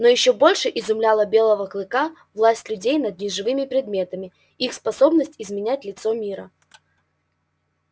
но ещё больше изумляла белого клыка власть людей над неживыми предметами их способность изменять лицо мира